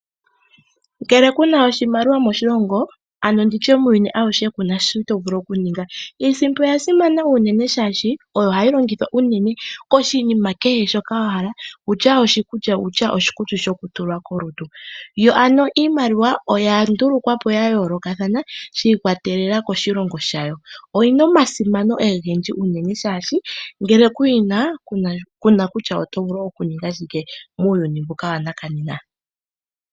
Ngele kuna oshimaliwa moshilongo kuna shoka to vulu okuninga. Iimaliwa oya simana unene oshoka oyo to vulu okulongitha okulanda kehe shimwe shoka wapumbwa iikutu oshowo iikulya. Iimaliwa oya longwa ya yooloka shi ikwatelela koshilongo shayo. Ngele kuna iimaliwa nena kuna shoka to vulu okuninga muuyuni wonena.